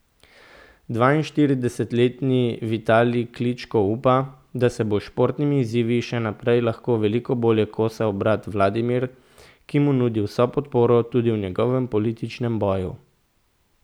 Dvainštiridesetletni Vitalij Kličko upa, da se bo s športnimi izzivi še naprej lahko veliko bolje kosal brat Vladimir, ki mu nudi vso podporo tudi v njegovem političnem boju.